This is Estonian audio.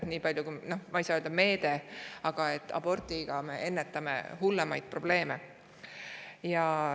Ma ei saa öelda, et see on meede, aga sellega me ennetame hullemaid probleeme.